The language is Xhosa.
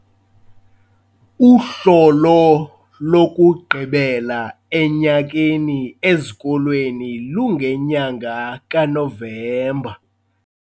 Uhlolo lokugqibela enyakeni ezikolweni lungenyanga kaNovemba.